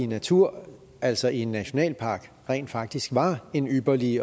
natur altså en nationalpark rent faktisk var en ypperlig